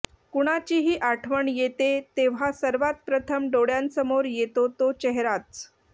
कुणाचीही आठवण येते तेव्हा सर्वात प्रथम डोळ्यांसमोर येतो तो चेहराच